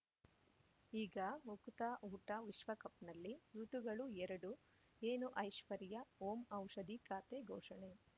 ಈಗ ಉಕುತ ಊಟ ವಿಶ್ವಕಪ್‌ನಲ್ಲಿ ಋತುಗಳು ಎರಡು ಏನು ಐಶ್ವರ್ಯಾ ಓಂ ಔಷಧಿ ಖಾತೆ ಘೋಷಣೆ